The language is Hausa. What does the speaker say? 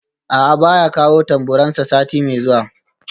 A'a baya kawo tamburansa sati mai zuwa